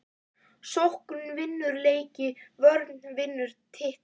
Sókn vinnur leiki vörn vinnur titla???